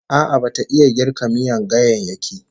A'a bata iya girka miyan ganyayyaki